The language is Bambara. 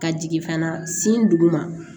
Ka jigin fana sin duguma